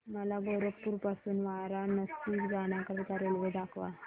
मला गोरखपुर पासून वाराणसी जाण्या करीता रेल्वे दाखवा